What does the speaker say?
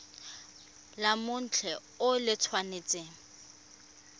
la mothale o le tshwanetse